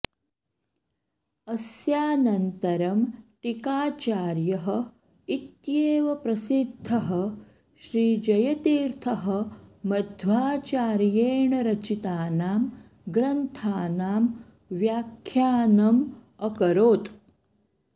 अस्यानन्तरं टीकाचार्यः इत्येव प्रसिद्धः श्रीजयतीर्थः मध्वाचार्येण रचितानां ग्रन्थानां व्याख्यानम् अकरोत्